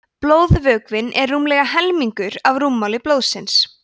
blóðvökvinn er rúmlega helmingur af rúmmáli blóðsins